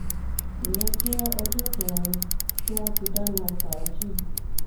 ìyẹn jẹ́ ọjọ́ kẹrin tí wọ́n ti dáná fàájì